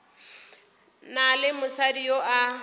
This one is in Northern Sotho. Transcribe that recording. na le mosadi yo a